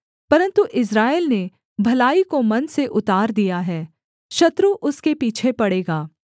परन्तु इस्राएल ने भलाई को मन से उतार दिया है शत्रु उसके पीछे पड़ेगा